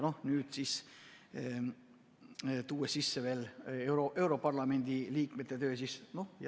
Nüüd tuuakse sisse veel europarlamendi liikme töö.